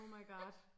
Oh my god